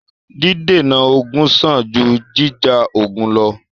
Dídènà ogun sàn jù jíjà ogun lọ́.